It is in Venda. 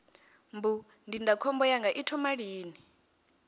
mbu ndindakhombo yanga i thoma lini